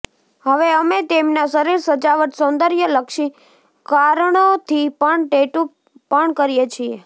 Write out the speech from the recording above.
હવે અમે તેમના શરીર સજાવટ સૌંદર્યલક્ષી કારણોથી પણ ટેટુ પણ કરીએ છીએ